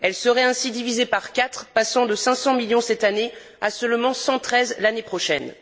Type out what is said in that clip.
Elle serait ainsi divisée par quatre, passant de 500 millions cette année à seulement 113 l'année prochaine.